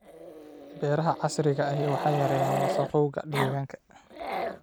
Beeraha casriga ahi waxay yareeyaan wasakhowga deegaanka.